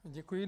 Děkuji.